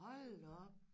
Hold da op